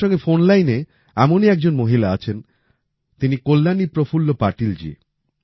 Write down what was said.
আমার সঙ্গে ফোন লাইনে এমনই একজন মহিলা আছেন তিনি কল্যাণী প্রফুল্ল পাটিলজি